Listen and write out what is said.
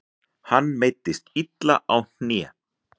Hann meiddist illa á hné.